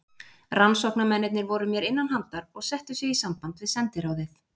Rannsóknarmennirnir voru mér innanhandar og settu sig í samband við sendiráðið.